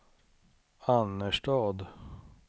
Annerstad